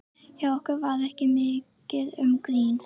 Hjá okkur var ekki mikið um grín.